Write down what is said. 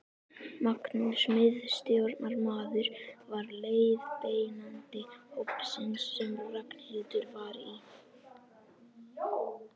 Magnús miðstjórnarmaður var leiðbeinandi hópsins sem Ragnhildur var í.